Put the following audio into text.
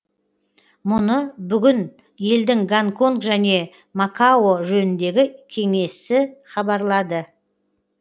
мұны бүгін елдің гонконг және макао жөніндегі кеңесі хабарлады